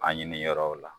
A ɲini yɔrɔw la